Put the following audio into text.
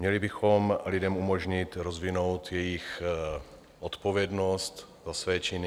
Měli bychom lidem umožnit rozvinout jejich odpovědnost za své činy.